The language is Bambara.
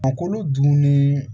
Ma kolo dunni